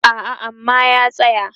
a'a aman ya tsaya